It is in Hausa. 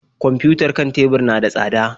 Kwamfiyutar kan tebur na da tsada.